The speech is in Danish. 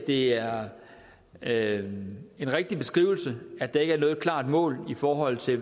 det er er en rigtig beskrivelse at der ikke er noget klart mål i forhold til